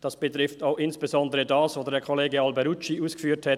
Das betrifft insbesondere auch das, was Kollege Alberucci ausgeführt hat;